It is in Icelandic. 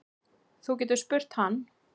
Þú getur spurt hann.